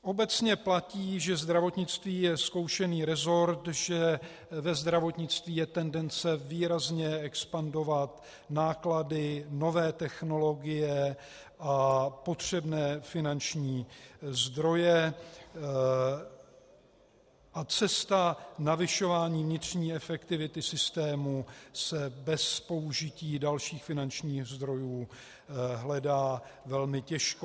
Obecně platí, že zdravotnictví je zkoušený resort, že ve zdravotnictví je tendence výrazně expandovat náklady, nové technologie a potřebné finanční zdroje, a cesta navyšování vnitřní efektivity systému se bez použití dalších finančních zdrojů hledá velmi těžko.